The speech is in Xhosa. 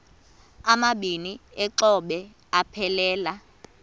amabini exhobe aphelela